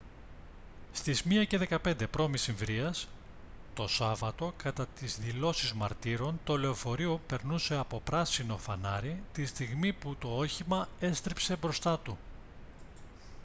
στις 1:15 π.μ. το σάββατο κατά τις δηλώσεις μαρτύρων το λεωφορείο περνούσε από πράσινο φανάρι τη στιγμή που το όχημα έστριψε μπροστά του